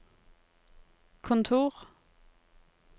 kontor